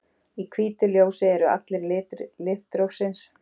Í hvítu ljósi eru allir litir litrófsins.